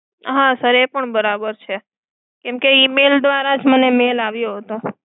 હા sir એ પણ બરાબર છે. email દ્વારા જ મને mail આવ્યો હતો.